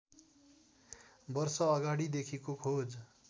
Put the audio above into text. वर्ष अगाडिदेखिको खोज